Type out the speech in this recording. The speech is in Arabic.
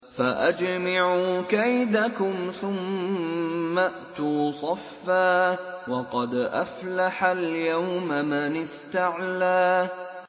فَأَجْمِعُوا كَيْدَكُمْ ثُمَّ ائْتُوا صَفًّا ۚ وَقَدْ أَفْلَحَ الْيَوْمَ مَنِ اسْتَعْلَىٰ